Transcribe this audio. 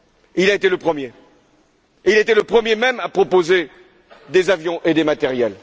Il a été le premier et le premier, même, à proposer des avions et du matériel.